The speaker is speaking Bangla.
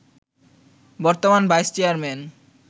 বর্তমান ভাইস চেয়ারম্যান